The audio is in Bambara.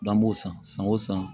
N'an b'o san san o san